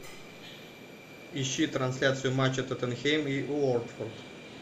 ищи трансляцию матча тоттенхэм и уотфорд